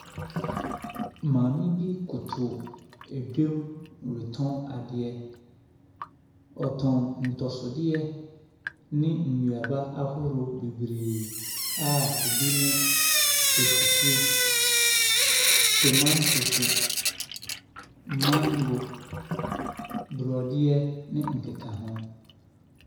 Maame bi koto adwam retɔn ne adeɛ. Ɔtɔn ntɔsodeɛ ne nnuaba ahorow bebree a ɛbi ne akutuo, tomatose, mango, borɔdeɛ ne nkekaho.